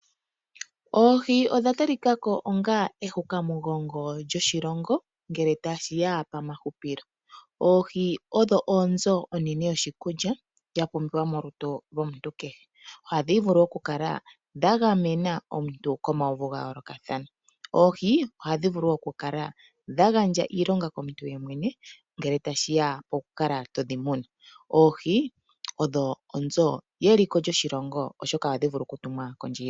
Oohi odha talikako onga ehukamugongo lyoshilongo ngele tashiya pomahupilo, oohi odho oonzo onene yoshikulya yapumbiwa molutu lwomuntu kehe. Ohadhi vulu okukala dha gamena omuntu komauvu ga yoolokathana, oohi oha dhivulu okukala dhagandja iilonga komuntu unene ngele tashiya koku kala to dhimuna. Oohi odho onzo yeliko lyoshilongo oshoka oha dhi vulu oku tumwa kondje yiilongo.